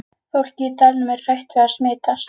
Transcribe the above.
Fólkið í dalnum er hrætt við að smitast.